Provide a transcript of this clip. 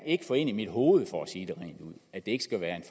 ikke få ind i mit hoved at det ikke skulle være en